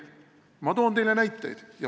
Mina toon teile näiteid.